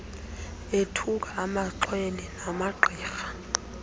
ethuka amaxhwele namagqirha